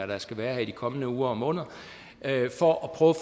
der skal være her i de kommende uger og måneder for at prøve